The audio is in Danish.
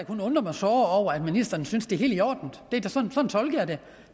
kun undre mig såre over at ministeren synes at det er helt i orden sådan tolker jeg det